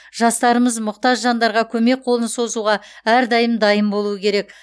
жастарымыз мұқтаж жандарға көмек қолын созуға әрдайым дайын болу керек